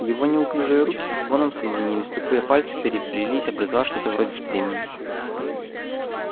его неуклюжие руки со звоном соединились тупые пальцы переплелись образовав что-то вроде стремени